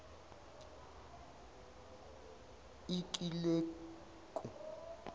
ikileku